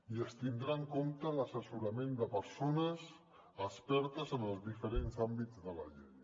i es tindrà en compte l’assessorament de persones expertes en els diferents àmbits de la llei